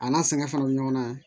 A n'a sɛgɛn fana bɛ ɲɔgɔn na